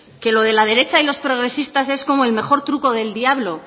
que lo de la derecha y los progresistas es como el mejor truco del diablo